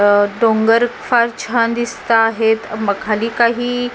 अ डोंगर फार छान दिसत आहेत मग खाली काही--